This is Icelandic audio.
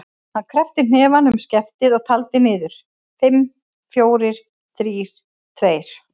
Hann kreppti hnefann um skeftið og taldi niður: fimm, fjórir, þrír, tveir.